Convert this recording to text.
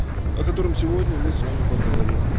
о котором сегодня мы с вами поговорим